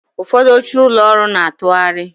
Ụfọdụ oche ụlọ ọrụ na-atụgharị